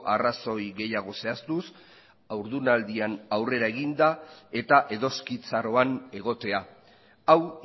arrazoi gehiago zehaztuz haurdunaldian aurrera eginda eta edoskitzaroan egotea hau